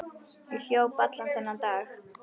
Ég hljóp allan þennan dag.